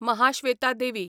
Mahasweta Devi